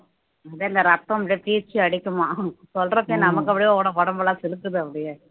இரத்தம் அப்படியே பீச்சி அடிக்குமாம் சொல்றப்பயே நமக்கு அப்படியே உடம் உடம்பெல்லாம் சிலிர்க்குது அப்படியே